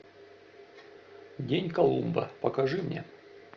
день колумба покажи мне